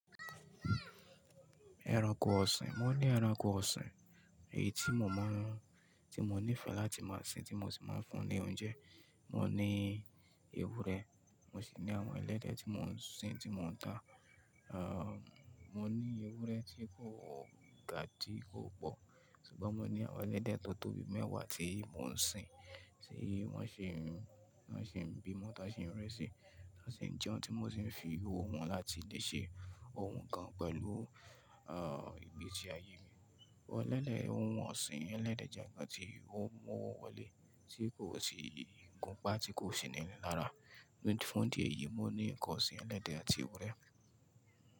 Ẹranko ọ̀sìn, mo ní ẹranko ọ̀sìn èyí tí mo mọ̀, tí mo nífẹ̀ẹ́ láti máa sin, tí mo sì máa ń fún ní oúnjẹ. Mo ní ewúrẹ́, mo sì ní àwọn ẹlẹ́dẹ̀ tí mò ń sin, tí mò ń dá. À, mo ní ewúrẹ́ tí kò gá tí kò pọ̀, ṣùgbọ́n mo ní àwọn ẹlẹ́dẹ̀ tó tóbi mẹ́wàá tí mò ń sin, tí wọ́n sì ń, wọ́n sì ń bímọ tán sì ń rẹ́ṣì, tán sì ń jẹun, tí mò sì ń fi owó wọn láti lè ṣe ohun kan pẹ̀lú, à, ìgbési ayé mi. Elẹ́dẹ̀ ohun ọ̀sìn ẹlẹ́dẹ̀ jẹ́ nkán tí ó mú owó wọlé tí kò sì gùn pá tí kò sì ní inilára. Ní fún dí ẹ̀yí, mo ní nǹkan ọ̀sìn ẹlẹ́dẹ̀ àti ewúrẹ́.